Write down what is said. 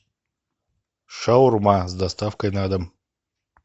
шаурма с доставкой на дом